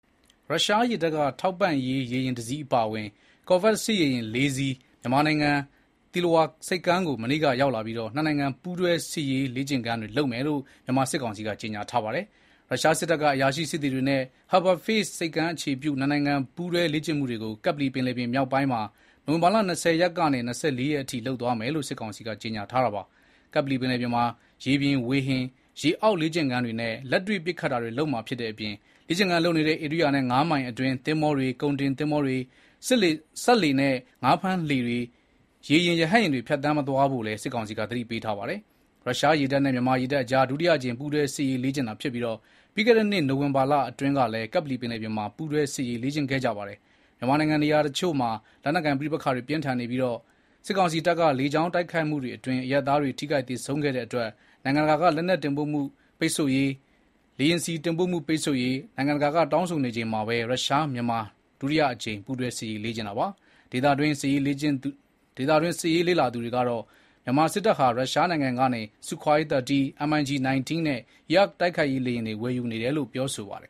ရုရှားရေတပ်က ထောက်ပံ့ရေး ရေယာဉ်တစီးအပါအဝင် ကော်ဗက်စစ်ရေယာဉ် လေးစီး မြန်မာနိုင်ငံ သီလဝါ ဆိပ်ကမ်းကို မနေ့က ရောက်လာပြီး နှစ်နိုင်ငံ ပူးတွဲ စစ်ရေးလေ့ကျင့်ခန်းတွေ လုပ်မယ်လို့ မြန်မာစစ်ကောင်စီက ကြေညာထားပါတယ်။ ရုရှား စစ်တပ်က အရာရှိ စစ်သည်တွေနဲ့အတူ Harbour Phase ဆိပ်ကမ်းအခြေပြု နှစ်နိုင်ငံ ပူးတွဲလေ့ကျင့်မှုတွေကို ကပ္ပလီပင်လယ်ပြင် မြောက်ပိုင်းမှာ နိုဝင်ဘာလ ၂၀ ရက်ကနေ ၂၄ ရက်နေ့အထိ လုပ်သွားမယ်လို့ စစ်ကောင်စီက ကြေညာထားတာပါ။ ကပ္ပလီပင်လယ်ပြင်မှာ ရေပြင်၊ ဝေဟင်၊ ရေအောက်လေ့ကျင့်ခန်းတွေနဲ့ လက်တွေ့ပစ်ခတ်တာတွေ လုပ်မှာဖြစ်တဲ့အတွက် လေ့ကျင့်ခန်းလုပ်နေတဲ့ ဧရိယာနဲ့ ငါးမိုင်အတွင်း သင်္ဘောတွေ၊ ကုန်တင်သင်္ဘောတွေ၊ စက်လှေနဲ့ ငါးဖမ်းလှေတွေ၊ ရေယာဉ် ရဟတ်ယာဉ်တွေ ဖြတ်သန်းမသွားဖို့လည်း စစ်ကောင်စီက သတိပေးထားပါတယ်။ ရုရှားရေတပ်နဲ့ မြန်မာရေတပ်အကြား ဒုတိယအကြိမ် ပူးတွဲ စစ်ရေးလေ့ကျင့်တာဖြစ်ပြီး ပြီးခဲ့တဲ့နှစ် နိုဝင်ဘာလအတွင်းကလည်း ကပ္ပလီပင်လယ်ပြင်မှာ ပူးတွဲ စစ်ရေးလေ့ကျင့်ခဲ့ပါတယ်။ မြန်မာနိုင်ငံ နေရာတချို့မှာ လက်နက်ကိုင်ပဋိပက္ခတွေ ပြင်းထန်နေပြီး စစ်ကောင်စီတပ်က လေကြောင်းတိုက်ခိုက်မှုတွေအတွင်း အရပ်သားတွ ထိခိုက်သေဆုံးတဲ့အတွက် နိုင်ငံတကာက လက်နက်တင်ပို့မှု ပိတ်ဆို့ရေး၊ လေယာဉ်ဆီ တင်ပို့မှု ပိတ်ပင်ရေး နိုင်ငံတကာက တောင်းဆိုနေချိန်မှာပဲ ရုရှား မြန်မာ ဒုတိယအကြိမ်ပူးတွဲ စစ်ရေးလေ့ကျင့်တာပါ။ ဒေသတွင်းစစ်ရေး လေ့လာသူတွေကတော့ မြန်မာစစ်တပ်ဟာ ရုရှားနိုင်ငံကနေ Su 30 (ဆူခွိုင်း သာတီး၊ MIG-19 နဲ့ Yak တိုက်ခိုက်ရေးလေယာဉ်တွေ ဝယ်ယူနေတယ်လို့ ပြောဆိုပါတယ်